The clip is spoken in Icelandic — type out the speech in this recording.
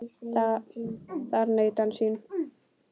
Þar naut hann sín.